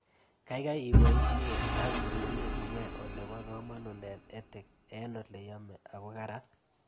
Kaikai ipoishe ak kekimitchikei ole po kamanut EdTech eng' ole yemei ak ko karan